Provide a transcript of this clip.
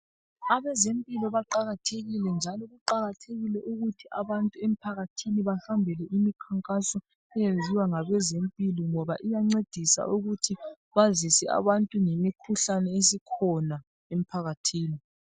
Abezempilo baqakathekile njalo kuqakathekile ukuthi abantu emphakathini bahambele imikhankaso eyenziwa ngabezempilo ngoba iyancedisa ukuthi bazise abantu ngemikhuhlane esikhona emphakathini.